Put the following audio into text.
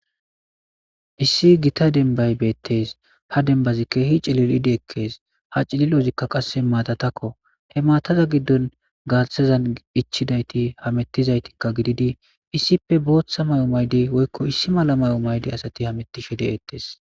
issi gita denbay beettees ha denbazi kehi cilil7idi ekkees ha cililozikka qasse maatatakko he maataza giddon gaathazan ichidayti hamettizaytikka gididi issippe booththa may7o maydi woykko issi mala may7o maydi asati hamettishe de'ettees